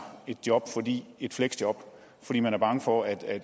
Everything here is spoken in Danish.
et job et fleksjob fordi man er bange for at